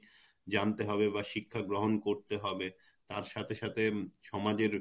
জানতে হবে বা শিক্ষা গ্রহন করতে হবে তার সাথে সাথে উম সমাজের